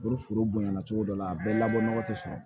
Ni foro bonya na cogo dɔ la a bɛɛ labɔ nɔgɔ tɛ sɔrɔ